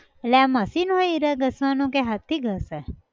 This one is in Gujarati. એલ્લે આ machine હોય હીરા ઘસવાનું કે હાથ થી ઘસે!